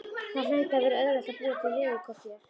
Það hlaut að vera auðvelt að búa til veðurkort hér.